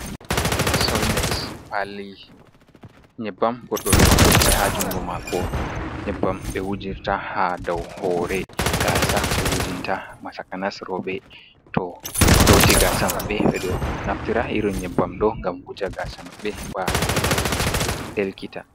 Solmet paali nyebbam goɗɗo ɗo jogi ha juungo mako nyebbam be wujirta ha dau hoore gaasa be wujinta ma takanas rooɓe to loti gasa maɓɓe ɓe ɗo naftira irin nyebbam ɗo ngam wuja gaasa maɓɓe heɓa delkita.